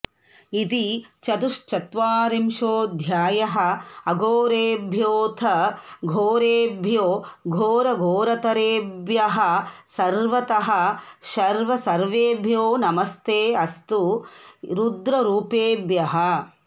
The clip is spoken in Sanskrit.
इति चतुश्चत्वरिंशोऽध्यायः अघोरेभ्योऽथ घोरेभ्यो घोरघोरतरेभ्यः सर्वतः शर्व सर्वेभ्यो नमस्ते अस्तु रुद्ररूपेभ्यः